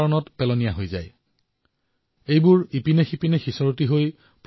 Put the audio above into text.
এই শাকপাচলিসমূহ ইফালেসিফালে গৈ লেতেৰা হয়